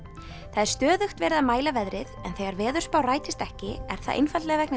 það er stöðugt verið að mæla veðrið en þegar veðurspá rætist ekki er það einfaldlega vegna